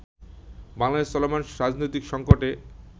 বাংলাদেশে চলমান রাজনৈতিক সঙ্কটে